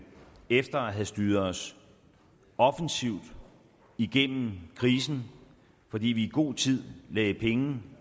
efter at have styret os offensivt igennem krisen fordi vi i god tid lagde penge